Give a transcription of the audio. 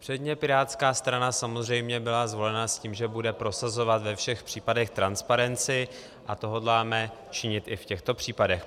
Předně pirátská strana samozřejmě byla zvolena s tím, že bude prosazovat ve všech případech transparenci, a to hodláme činit i v těchto případech.